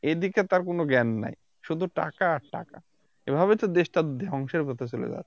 এইদিকে তার কোন জ্ঞান নাই শুধু টাকা আর টাকা এভাবে তো দেশটা ধ্বংসের পথে চলে যাচ্ছে